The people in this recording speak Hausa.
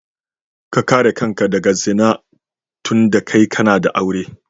Ka kare kanka daga zina dunda kai kana da aure.